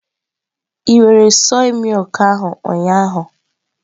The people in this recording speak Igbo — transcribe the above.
Ị were mmiri soya ahụ ụnyahụ?